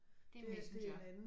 Det er Messenger